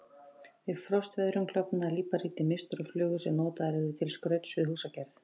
Við frostveðrun klofnar líparít í misstórar flögur sem notaðar eru til skrauts við húsagerð.